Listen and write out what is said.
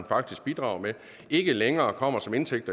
faktisk bidrager med ikke længere kommer som indtægt